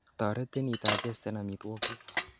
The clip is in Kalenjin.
toretin idigesten omitwogikguk